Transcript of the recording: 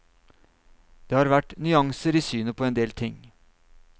Det har vært nyanser i synet på en del ting.